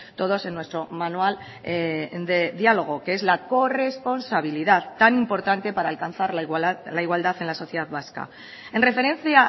todos en nuestro manual de diálogo que es la corresponsabilidad tan importante para alcanzar la igualdad en la sociedad vasca en referencia